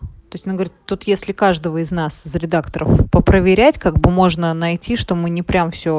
то есть она говорит тут если каждого из нас за редакторов по проверять как бы можно найти что мы не прямо все